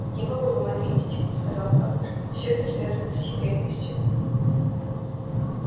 я могу вам ответить сказал кэллнер всё это связано с секретностью